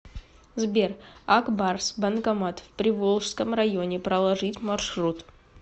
сбер ак барс банкомат в приволжском районе проложить маршрут